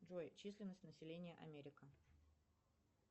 джой численность населения америка